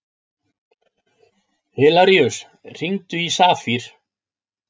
Hilaríus, hringdu í Safír.